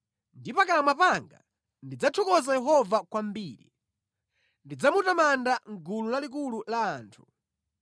Ndi pakamwa panga ndidzathokoza Yehova kwambiri; ndidzamutamanda mʼgulu lalikulu la anthu.